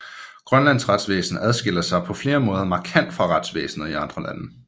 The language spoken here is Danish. Grønlands retsvæsen adskiller sig på flere måder markant fra retsvæsenet i andre lande